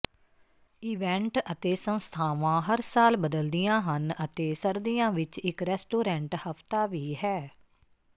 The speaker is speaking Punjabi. ਇਵੈਂਟ ਅਤੇ ਸੰਸਥਾਵਾਂ ਹਰ ਸਾਲ ਬਦਲਦੀਆਂ ਹਨ ਅਤੇ ਸਰਦੀਆਂ ਵਿੱਚ ਇੱਕ ਰੈਸਟੋਰੈਂਟ ਹਫਤਾ ਵੀ ਹੈ